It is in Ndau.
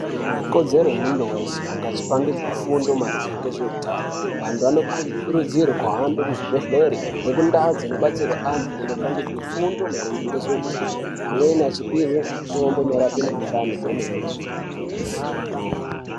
ikodzero yemuntu wese kunge achipangidzwa fundo maringe ngezveutano, vantu vanokurudzirwe kuhambire kuzvibhedhlere nekundau dzinobatsirwe antu nekupangidzwa fundo maringe ngezveutano amweni achipiwe mitombo inorape mikhuhlane kwemene.